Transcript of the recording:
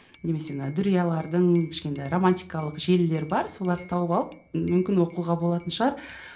немесе мына дүриялардың кішкентай романтикалық желілер бар соларды тауып алып мүмкін оқуға болатын шығар